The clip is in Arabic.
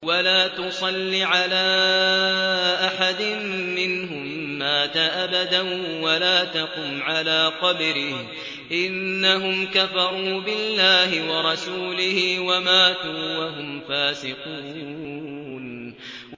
وَلَا تُصَلِّ عَلَىٰ أَحَدٍ مِّنْهُم مَّاتَ أَبَدًا وَلَا تَقُمْ عَلَىٰ قَبْرِهِ ۖ إِنَّهُمْ كَفَرُوا بِاللَّهِ وَرَسُولِهِ وَمَاتُوا وَهُمْ فَاسِقُونَ